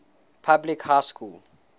public high school